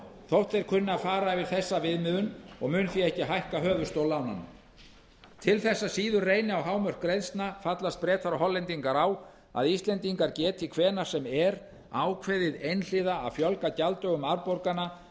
þótt þeir kunni að fara yfir þessa viðmiðun og munu því ekki hækka höfuðstól lánanna til þess að síður reyni á hámörk greiðslna fallast breta og hollendingar á að íslendingar geti hvenær sem er ákveðið einhliða að fjölga gjalddögum afborgana